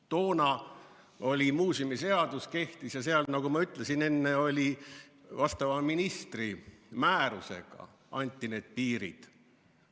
Toona muuseumiseadus kehtis ja seal, nagu ma enne ütlesin, vastava ministri määrusega anti need piirid.